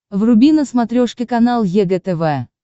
вруби на смотрешке канал егэ тв